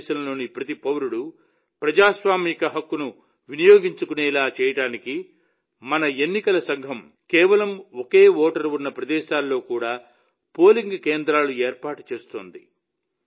భారతదేశంలోని ప్రతి పౌరుడు ప్రజాస్వామిక హక్కును వినియోగించుకునేలా చేయడానికి మన ఎన్నికల సంఘం కేవలం ఒకే ఓటరు ఉన్న ప్రదేశాల్లో కూడా పోలింగ్ కేంద్రాలను ఏర్పాటు చేస్తుంది